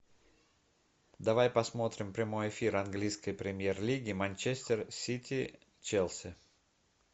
давай посмотрим прямой эфир английской премьер лиги манчестер сити челси